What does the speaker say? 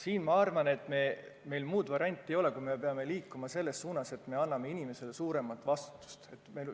Minu arvates meil muud varianti ei ole, kui me peame liikuma selles suunas, et me paneme inimese rohkem vastutama.